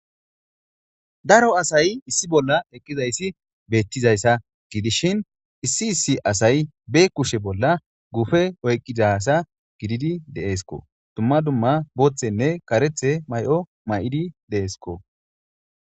Daro asay issi bolla eqqizayssi beettizayssa gidishin issi issi asay be kushe bolla gufe oyqqidasa gididi de7eesko dumma dumma booththenne karethe may7o may7idi de7esko.